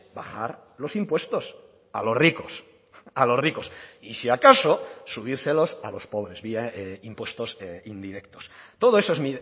bajar los impuestos a los ricos a los ricos y si acaso subírselos a los pobres vía impuestos indirectos todo eso es